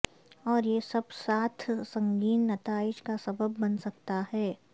اور یہ سب ساتھ سنگین نتائج کا سبب بن سکتا ہے